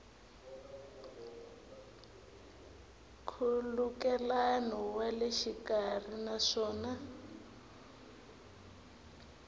nkhulukelano wa le xikarhi naswona